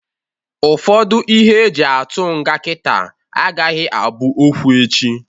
Ụfọdụ ihe e ji atụ nga kita agaghị abụ okwu echi.